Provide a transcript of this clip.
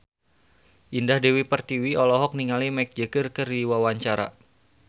Indah Dewi Pertiwi olohok ningali Mick Jagger keur diwawancara